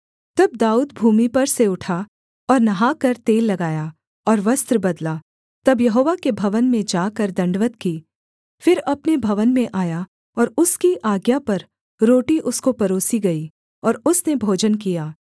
तब दाऊद भूमि पर से उठा और नहाकर तेल लगाया और वस्त्र बदला तब यहोवा के भवन में जाकर दण्डवत् की फिर अपने भवन में आया और उसकी आज्ञा पर रोटी उसको परोसी गई और उसने भोजन किया